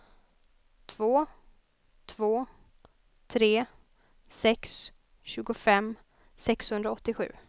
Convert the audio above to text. två två tre sex tjugofem sexhundraåttiosju